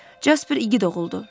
Casper igid oğuldur.